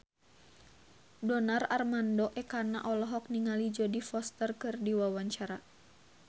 Donar Armando Ekana olohok ningali Jodie Foster keur diwawancara